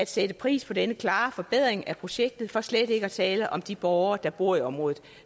sætte pris på denne klare forbedring af projektet for slet ikke at tale om de borgere der bor i området